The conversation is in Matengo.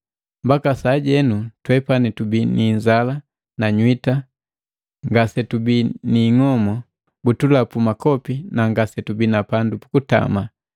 Mbaka sajenu twepani tubii ni inzala na nywita, ngasetubi ni ingobu, butulapu makopi nangasetubi na pandu pukutama.